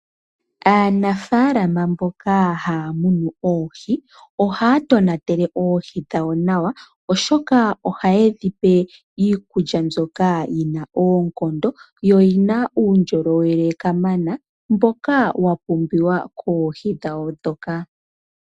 Aanafaalama mboka haya munu oohi, ohaya tonatele oohi dhawo nawa oshoka ohaye dhipe iikulya mbyoka yi na oonkondo, yo yi na uundjolowele kamana mboka wa pumbiwa koohi dhawo ndhoka.